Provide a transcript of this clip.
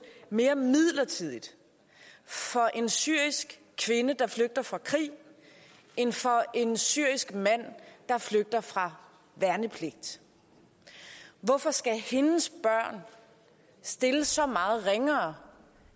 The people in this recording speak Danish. mere midlertidigt for en syrisk kvinde der flygter fra krig end for en syrisk mand der flygter fra værnepligt hvorfor skal hendes børn stilles så meget ringere